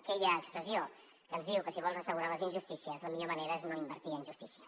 aquella expressió que ens diu que si vols assegurar les injustícies la millor manera és no invertir en justícia